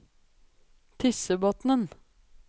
Tyssebotnen